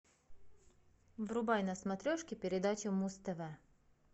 врубай на смотрешке передачу муз тв